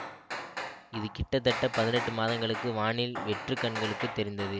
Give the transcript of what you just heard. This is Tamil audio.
இது கிட்டத்தட்ட பதினெட்டு மாதங்களுக்கு வானில் வெற்று கண்களுக்கு தெரிந்தது